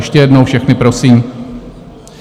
Ještě jednou všechny prosím.